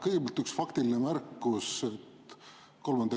Kõigepealt üks faktiline märkus 3.